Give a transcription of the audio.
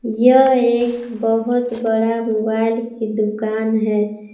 यह एक बहुत बड़ा मोबाइल की दुकान है।